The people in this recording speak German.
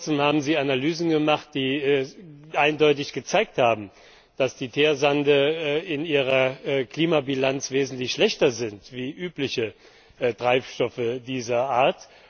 Noch vor kurzem haben Sie Analysen gemacht, die eindeutig gezeigt haben, dass die Teersande in ihrer Klimabilanz wesentlich schlechter sind als übliche Treibstoffe dieser Art.